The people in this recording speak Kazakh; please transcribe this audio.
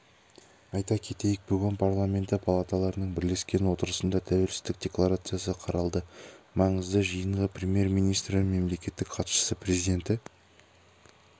айта кетейік бүгін парламенті палаталарының бірлескен отырысында тәуелсіздік декларациясы қаралды маңызды жиынға премьер-министрі мемлекеттік хатшысы президенті